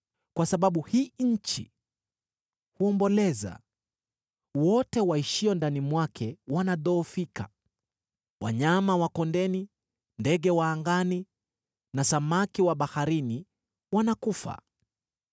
Kwa sababu hii nchi huomboleza, wote waishio ndani mwake wanadhoofika, wanyama wa kondeni, ndege wa angani na samaki wa baharini wanakufa.